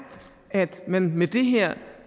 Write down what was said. at man med det her